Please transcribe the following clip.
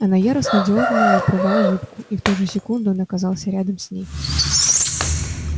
она яростно дёрнула и порвала юбку и в ту же секунду он оказался рядом с ней